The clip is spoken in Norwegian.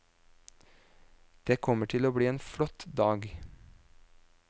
Det kommer til å bli en flott dag.